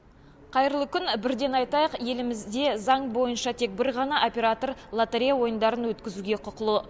қайырлы күн бірден айтайық елімізде заң бойынша тек бір ғана оператор лотерея ойындарын өткізуге құқылы